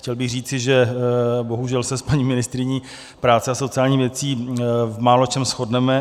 Chtěl bych říci, že bohužel se s paní ministryní práce a sociálních věcí v máločem shodneme.